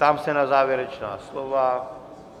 Ptám se na závěrečná slova.